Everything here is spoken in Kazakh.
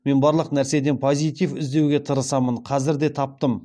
мен барлық нәрседен позитив іздеуге тырысамын қазір де таптым